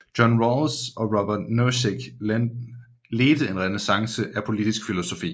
John Rawls og Robert Nozick ledte en renæssance af politisk filosofi